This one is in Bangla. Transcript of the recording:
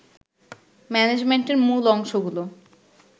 ম্যানেজমেন্টের মূল অংশগুলো